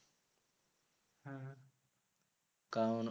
কারণ